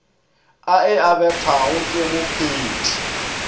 a e abetwego ke mophethii